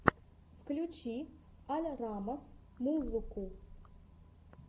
включи аль раммас музуку